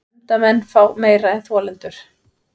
Nefndarmenn fá meira en þolendur